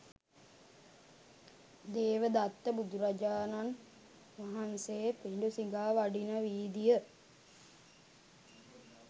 දේවදත්ත බුදුරජාණන් වහන්සේ පිඬු සිඟා වඩින වීදිය